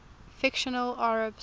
fictional arabs